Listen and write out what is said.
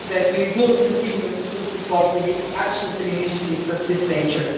We will continue to support actions and initiatives of this nature.